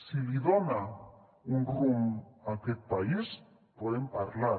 si li dona un rumb a aquest país podem parlar